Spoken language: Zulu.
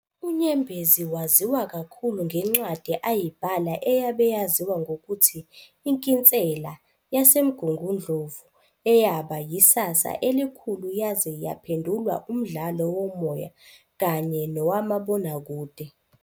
UNyembezi waziwa kakhulu ngencwadi ayibhala eyabe yaziwa ngokuthi Inkinsela yaseMgungundlovu eyaba yisasa elikhulu yaze yaphendulwa umdlalo womoya kanye nowamabonakude.